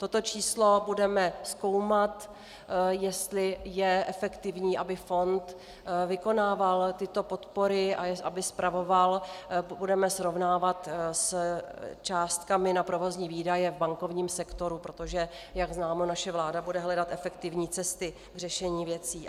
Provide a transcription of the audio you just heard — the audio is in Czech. Toto číslo budeme zkoumat, jestli je efektivní, aby fond vykonával tyto podpory, aby je spravoval, budeme srovnávat s částkami na provozní výdaje v bankovním sektoru, protože jak známo, naše vláda bude hledat efektivní cesty k řešení věcí.